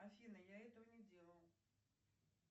афина я этого не делала